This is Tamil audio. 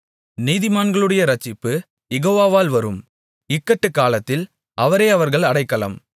நீதிமான்களுடைய இரட்சிப்பு யெகோவாவால் வரும் இக்கட்டுக்காலத்தில் அவரே அவர்கள் அடைக்கலம்